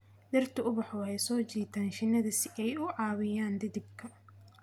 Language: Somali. Dhirtu ubaxu waxay soo jiitaan shinnida si ay u caawiyaan dhidibka.